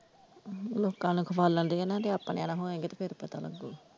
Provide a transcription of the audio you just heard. ਲੋਕਾਂ ਨੂੰ ਖਵਾਲਨ ਦੇ ਆਣਾ ਤੇ ਆਪਣੇਆ ਨਾਲ ਹੋਏਗਾ ਤੇ ਫਿਰ ਪਤਾ ਲੱਗੂ।